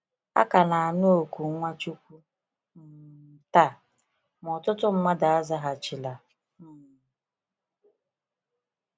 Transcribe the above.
A ka na-anụ oku Nwachukwu um taa, ma ọtụtụ mmadụ azaghachila um.